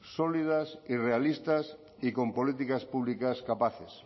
sólidas y realistas y con políticas públicas capaces